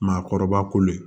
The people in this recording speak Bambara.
Maakɔrɔba kolo ye